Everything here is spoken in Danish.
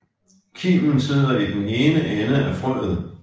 Kimen sidder i den ene ende af frøet